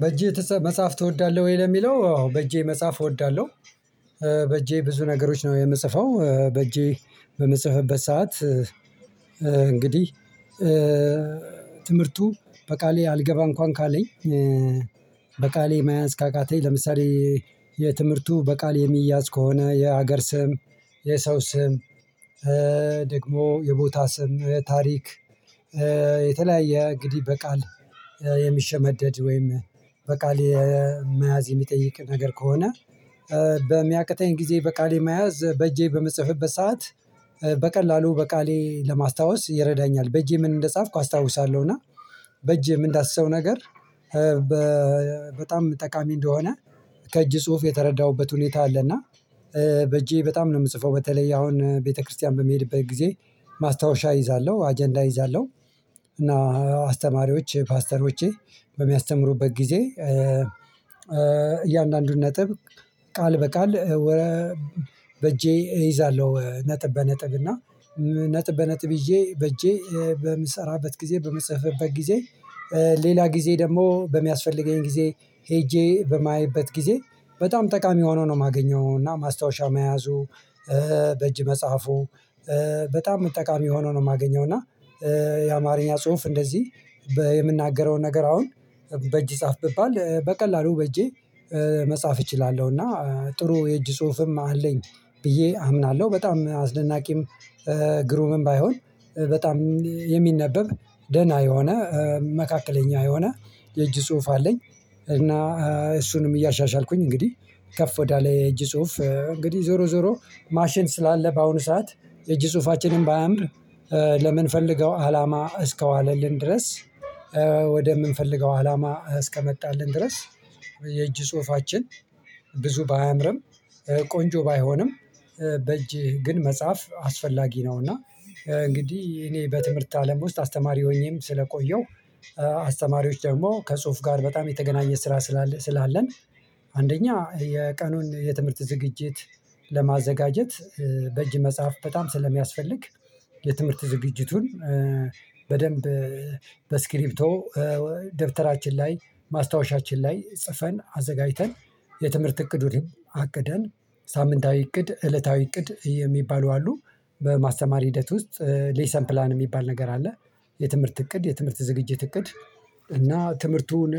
በእህ መጻሐፍ ተወዳለህ ወይ? ለሚለው አዎ በእጄ መጽሐፍ እወዳለሁ። በእጄ ብዙ ነገሮች ነው የምጽፈው በእጄ በምጽፈበት ሰዓት። እንግዲህ ትምህርቱ በቃሌ አልገባ እንኳን ካለኝ። በቃሌ መያዝ ካቃተኝ ለምሳሌ የትምህርቱ በቃል የሚያዝ ከሆነ የሀገር ስም የሰው ስም ደግሞ የቦታ ስም ታሪክ። የተለያየ እንግዲህ በቃል የሚሸመደድ ወይም በቃል መያዝ የሚጠይቅ ነገር ከሆነ። በሚያቅተኝ ጊዜ በቃሌ መያዝ በእጄ በምጽፍበት ሰዓት በቀላሉ በቃሌ ለማስታወስ ይረዳኛል በእጄ ምን እንደ ጻፍኩ አስታውሳለሁና። በእጄ ምን እምንዳስሰው ነገር በጣም ጠቃሚ እንደሆነ ከእጅ ጽሁፍ የተረዳሁበት ሁኔታ አለና። በእጄ በጣም ነው የምጽፈው በተለይ አሁን ቤተክርስቲያን በመሄድበት ጊዜ ማስታወሻ እይዛለሁ አጀንዳ እይዛለሁ። እና አስተማሪዎች ፓስተሮቼ በሚያስተምሩበት ጊዜ እያንዳንዱን ነጥብ ቃል በቃል። በእጄ እይዛለሁ ነጥብ በነጥብ እና ነጥብ በነጥብ ሄጄ በእጄ በምሰራበት ጊዜ በምጽፍበት ጊዜ። ሌላ ጊዜ ደግሞ በሚያስፈልገኝ ጊዜ ሄጄ በማየበት ጊዜ በጣም ጠቃሚ ሆኖ ነው የማገኘው እና ማስታወሻ መያዙ። በእጅ መጽሐፉ በጣም ጠቃሚ ሆኖ ነው የማገኘው እና። የአማርኛ ጽሁፍ እንደዚህ የምናገረውን ነገር አሁን በእጅ ጻፍ ብባል በቀላሉ በእጄ መጻፍ እችላለሁ እና ጥሩ የእጅ ጽሁፍም አለኝ። ብዬ አምናለሁ በጣም አስደናቂም ግሩምም ባይሆን በጣም የሚነበብ ደህና የሆነ መካከለኛ የሆነ የእጅ ጽሁፍ አለኝ። እና እሱንም እያሻሻልኩኝ እንግዲህ ከፍ ወዳለ የእጅ ጽሁፍ እንግዲህ ዞሮ ዞሮ ማሽን ስላለ በአሁኑ ሰዓት የእጅ ጽሁፋችንን ባያምር ለምን ፈልገው አላማ እስከዋለልን ድረስ ወደምንፈልገው አላማ እስከመጣልን ድረስ የእጅ ጽሁፋችን። ብዙ ባያምርም ቆንጆ ባይሆንም በእጅ ግን መጽሐፍ አስፈላጊ ነው እና እንግዲህ እኔ በትምህርት አለም ውስጥ አስተማሪም ሆኜም ስለቆየው። አስተማሪዎች ደግሞ ከጽሁፍ ጋር በጣም የተገናኘ ስራ ስላለ ስላለን አንደኛ የቀኑን የትምህርት ዝግጅት ለማዘጋጀት በእጅ መጽሐፍ በጣም ስለሚያስፈልግ የትምህርት ዝግጅቱን በደንብ በስክሪፕቶ ደብተራችን ላይ ማስታወሻችን ላይ ጽፈን አዘጋጅተን የትምህርት እቅድ ሁሌም አቅደን ሳምንታዊ እቅድ እለታዊ እቅድ የሚባሉ አሉ በማስተማር ሂደት ውስጥ ሌሰን ፕላን የሚባል ነገር አለ። የትምህርት እቅድ የትምህርት ዝግጅትእቅድ እና ትምህርቱን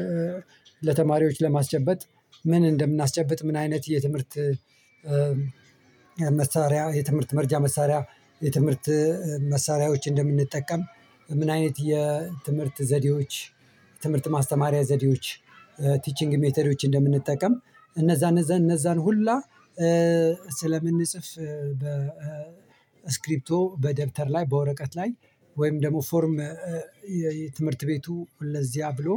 ለተማሪዎች ለማስጨበጥ ምን እንደምናስጨብጥ ምን አይነት የትምህርት መሳሪያ የትምህርት መረጃ መሳሪያ የትምህርት መሳሪያዎች እንደምንጠቀም ምን አይነት የትምህርት ዘዴዎች ትምህርት ማስተማሪያ ዘዴዎች ቲቺንግ ሜትዶዎች እንደምንጠቀም እነዛን እነዛን እነዛን ሁላ። ስለምንጽፍ በስክሪፕቶ በደብተር ላይ በወረቀት ላይ ወይም ደግሞ ፎርም የትምህርት ቤቱ ለዚያ ብሎ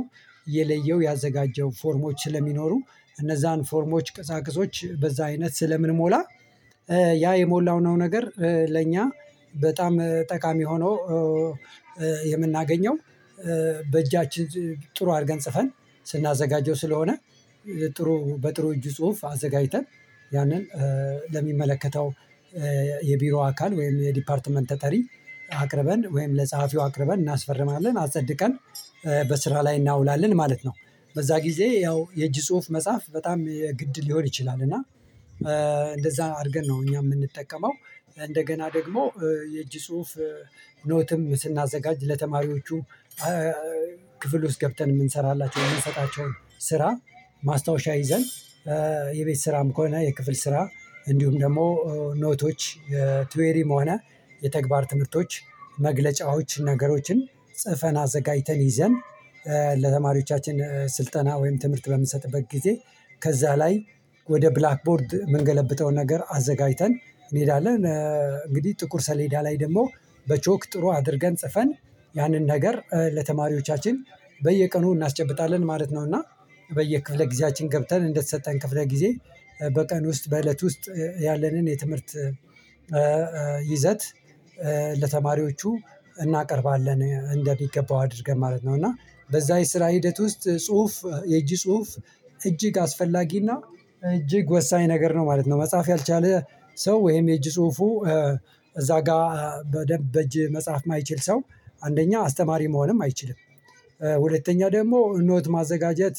የለየው ያዘጋጀው ፎርሞች ስለሚኖሩ እነዛን ፎርሞች ቅሳቅሶች በዛ አይነት ስለምንሞላ ያ የሞላውነው ነገር ለእኛ በጣም ጠቃሚ ሆኖ የምናገኘው። በእጃችን ጥሩ አድርገን ጽፈን ስናዘጋጀው ስለሆነ ጥሩ በጥሩ እጅ ጽሁፍ አዘጋጅተን ያንን ለሚመለከተው የቢሮ አካል ወይም የዲፓርትመንት ተጠሪ አቅርበን ወይም ለጸሐፊው አቅርበን እናስፈርማለን አጸድቀን በስራ ላይ እናውላለን ማለት ነው። በዛ ጊዜ ያው የእጅ ጽሁፍ መጽሐፍ በጣም ግድ ሊሆን ይችላል እና እንደዛ አድርገን ነው እኛ የምንጠቀመው። እንደገና ደግሞ የእጅ ጽሁፍ ኖትም ስናዘጋጅ ለተማሪዎቹ ክፍል ውስጥ ገብተን የምንሰራላቸው የምንሰጣቸውን ስራ ማስታወሻ ይዘን የቤት ስራም ከሆነ የክፍል ስራ እንዲሁም ደግሞ ኖቶች ትዌሪም ሆነ የተግባር ትምህርቶች መግለጫዎች ነገሮችን ጽፈን አዘጋጅተን ይዘን ለተማሪዎቻችን ስልጠና ወይም ትምህርት በምንሰጥበት ጊዜ ከዛ ላይ ወደ ብላክ ቦርድ የምንገለብጠው ነገር አዘጋጅተን እንሄዳለን። እንግዲህ ጥቁር ሰሌዳ ላይ ደግሞ በቾክ ጥሩ አድርገን ጽፈን ያንን ነገር ለተማሪዎቻችን በየቀኑ እናስጨብጣለን ማለት ነው። እና በየክፍለ ጊዜያችን ገብተን እንደተሰጠን ክፍለ ጊዜ በቀን ውስጥ በእለት ውስጥ ያለንን የትምህርት ይዘት ለተማሪዎቹ እናቀርባለን እንደሚገባው አድርገን ማለት ነው። እና በዛ የስራ ሂደት ውስጥ ጽሁፍ የእጅ ጽሁፍ እጅግ አስፈላጊ እና እጅግ ወሳኝ ነገር ነው ማለት ነው። መጽሐፍ ያልቻለ ሰው ወይም የእጅ ጽሁፉ እዛ ጋር በደንብ በእጅ መጽሐፍ የማይችል ሰው አንደኛ አስተማሪ መሆንም አይችልም። ሁለተኛ ደግሞ ኖት ማዘጋጀት